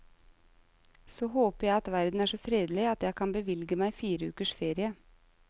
Så håper jeg at verden er så fredelig at jeg kan bevilge meg fire ukers ferie.